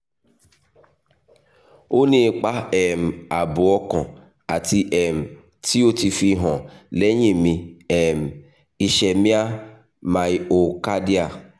o ni ipa um aabo okan ati um ti o ti fihan lẹhin mi um ischemia miocardial